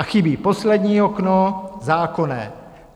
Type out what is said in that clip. A chybí poslední okno - zákonné.